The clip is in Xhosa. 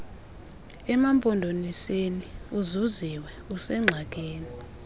emampondomiseni uzuziwe usengxakini